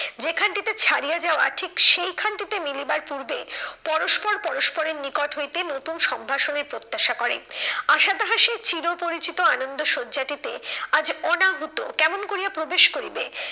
যেখান থেকে ছাড়িয়া যাওয়া ঠিক সেইখানটিতে মিলিবার পূর্বে, পরস্পর পরস্পরের নিকট হইতে নতুন সম্ভাষণের প্রত্যাশা করে। আশা তাহার সে চির পরিচিত আনন্দ সজ্জাটিতে আজ অনাহুত কেমন করিয়া প্রবেশ করিবে।